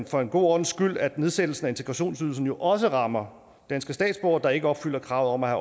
for en god ordens skyld at nedsættelsen af integrationsydelsen jo også rammer danske statsborgere der ikke opfylder kravet om at